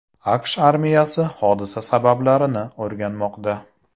AQSh armiyasi hodisa sabablarini o‘rganmoqda.